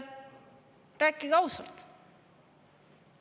Rääkige ausalt!